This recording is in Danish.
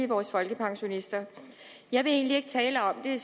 vores folkepensionister jeg vil egentlig ikke tale om det